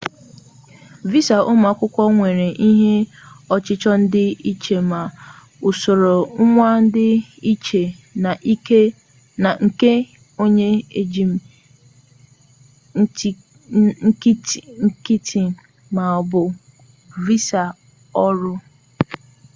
visa ụmụ akwụkwọ nwere ihe ọchịchọ dị iche ma usoro ngwa dị iche na nke onye njem nkịtị maọbụ visa ọrụ